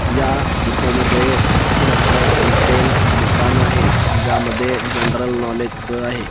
या फोटो मध्ये भरपूर असं होलसेल दुकान आहे ज्यामध्ये जनड्रल नॉलेज च आहे.